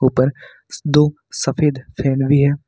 ऊपर दो सफेद फैन भी हैं।